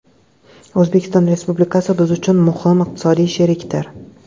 O‘zbekiston Respublikasi biz uchun muhim iqtisodiy sherikdir.